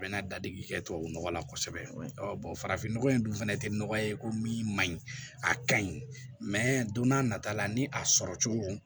A bɛ na dadigi kɛ tubabu nɔgɔ la kosɛbɛ farafin nɔgɔ in dun fana tɛ nɔgɔya ye ko min man ɲi a ka ɲi don n'a nata la ni a sɔrɔ cogo